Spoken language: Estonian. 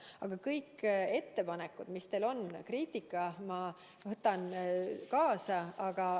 Aga kõik ettepanekud, mis teil on, kogu kriitika ma võtan kaasa.